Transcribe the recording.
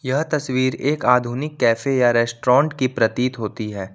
यह तस्वीर एक आधुनिक कैफे या रेस्टोरेंट की प्रतीत होती है।